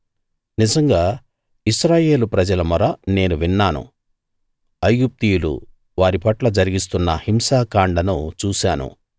నిజంగా ఇశ్రాయేలు ప్రజల మొర నేను విన్నాను ఐగుప్తీయులు వారి పట్ల జరిగిస్తున్న హింసాకాండను చూశాను